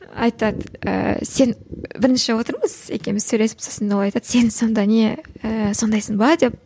айтады ыыы сен бірінші отырмыз екеуміз сөйлесіп сосын ол айтады сен сонда не ііі сондайсың ба деп